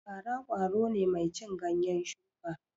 Fara ƙwaro ne mai cin ganyen shuka